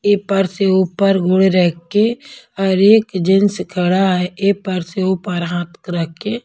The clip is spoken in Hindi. ए पर से ऊपर घोड़े रख के और एक जेन्स खड़ा है एपर से ऊपर हाथ रख के।